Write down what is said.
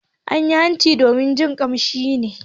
An yi hanci domin jin kamshi ne.